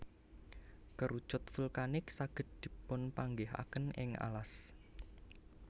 Kerucut vulkanik saged dipunpanggihaken ing alas